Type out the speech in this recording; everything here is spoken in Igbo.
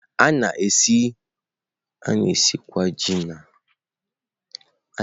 A na-esikwa Ji n'ụzọ dị iche iche sie ya, porridge esiri ya, e ghere eghe wdg.